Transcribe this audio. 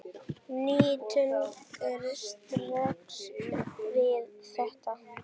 Nína tengir strax við þetta.